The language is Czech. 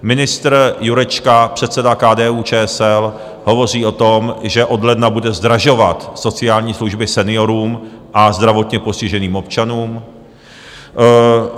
Ministr Jurečka, předseda KDU-ČSL, hovoří o tom, že od ledna bude zdražovat sociální služby seniorům a zdravotně postiženým občanům.